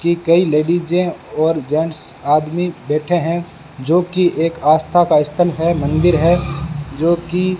की कई लेडीजे और जेंट्स आदमी बैठे हैं जो कि एक आस्था का स्थल है मंदिर है जो कि --